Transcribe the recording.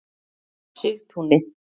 Sigtúni